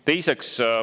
Teiseks.